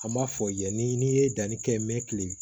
An m'a fɔ yan ni ye danni kɛ mɛ kilen